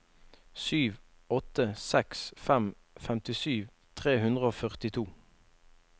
sju åtte seks fem femtisju tre hundre og førtito